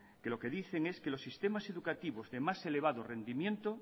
que lo que dicen es que los sistemas educativos de más elevado rendimiento